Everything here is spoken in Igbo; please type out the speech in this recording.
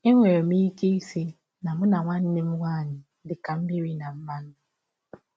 Enwere m ike ịsị na mụ na nwanne m nwaanyị dị ka mmịrị na mmanụ.